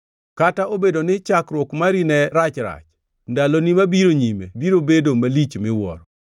Kata obedo ni chakruok mari ne rachrach, ndaloni mabiro nyime biro bedo malich miwuoro.